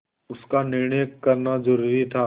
उसका निर्णय करना जरूरी था